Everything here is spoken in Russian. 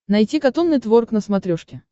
найти катун нетворк на смотрешке